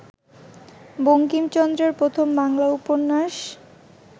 বঙ্কিমচন্দ্রের প্রথম বাংলা উপন্যাস